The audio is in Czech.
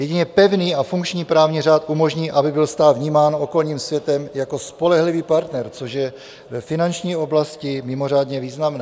Jedině pevný a funkční právní řád umožní, aby byl stát vnímán okolním světem jako spolehlivý partner, což je ve finanční oblasti mimořádně významné.